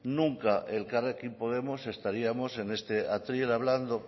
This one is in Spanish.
nunca elkarrekin podemos estaríamos en este atril hablando